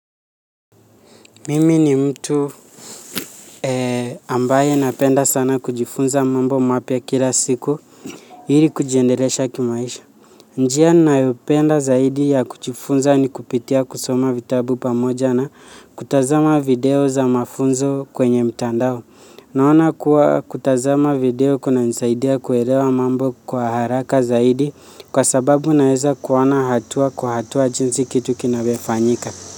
Mimi ni mtu ambaye napenda sana kujifunza mambo mapya kila siku ili kujiendelesha kimaisha. Njia nayopenda zaidi ya kujifunza ni kupitia kusoma vitabu pamoja na kutazama video za mafunzo kwenye mtandao. Naona kuwa kutazama video kunanisaidia kuelewa mambo kwa haraka zaidi kwa sababu naeza kuona hatua kwa hatua jinsi kitu kinavyofanyika.